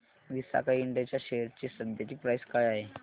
Visaka Ind च्या share ची सध्याची प्राइस काय आहे